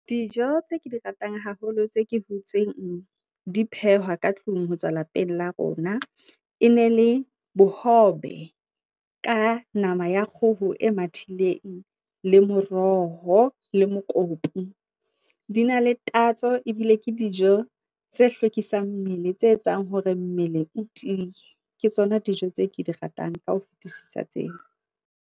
Dijo tse ke di ratang haholo, tse ke butseng di phehwa ka tlung ho tswa lapeng la rona. E ne le bohobe ka nama ya kgoho e mathileng, le moroho le mokopu. Di na le tatso ebile ke dijo tse hlwekisang mmele, tse etsang hore mmele o tiiye. Ke tsona dijo tse ke di ratang ka ho fetisisa tseo.